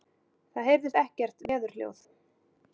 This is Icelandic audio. Það heyrist ekkert veðurhljóð.